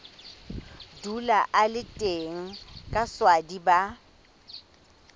dula a le teng kaswadi ba